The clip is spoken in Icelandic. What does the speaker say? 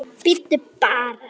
Bíddu bara.